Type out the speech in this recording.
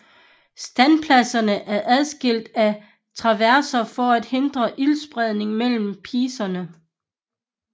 Standpladserne er adskilt af traverser for at hindre ildspredning mellem piecerne